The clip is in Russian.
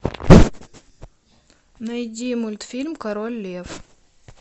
найди мультфильм король лев